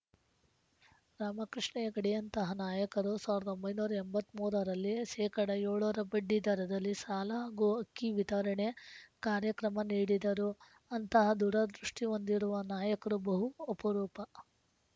ರಾಮಕೃಷ್ಣ ಹೆಗಡೆಯಂತಹ ನಾಯಕರು ಸಾವಿರದ ಒಂಬೈನೂರ ಎಂಬತ್ತ್ ಮೂರರಲ್ಲಿ ಶೇ ಏಳರ ಬಡ್ಡಿ ದರದಲ್ಲಿ ಸಾಲ ಹಾಗೂ ಅಕ್ಕಿ ವಿತರಣೆ ಕಾರ್ಯಕ್ರಮ ನೀಡಿದರು ಅಂತಹ ದೂರದೃಷ್ಟಿಹೊಂದಿರುವ ನಾಯಕರು ಬಹು ಅಪರೂಪ